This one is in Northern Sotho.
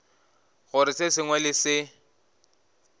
gore se sengwe le se